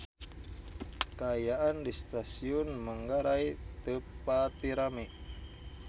Kaayaan di Stasiun Manggarai teu pati rame